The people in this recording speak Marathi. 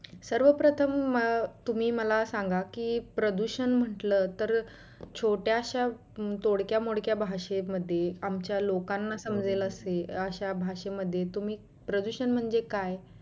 सर्व प्रथम अं तुम्ही मला सांगा की प्रदुषण म्हंटल तर छोट्याश्या तोडक्या मोडक्या भाषेमध्ये आमच्या लोकांना समजेल असे अश्या भाषेमध्ये तुम्ही प्रदुषण म्हणजे काय?